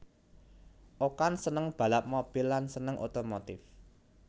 Okan seneng balap mobil lan seneng otomotif